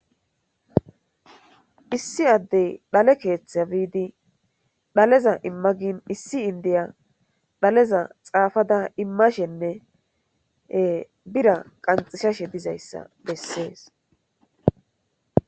Issi addey dhale keeththe biidi dhaleza imma gin issi indiya dhaleza xaafada immashenne bira qanxishashe dizayssa bessees,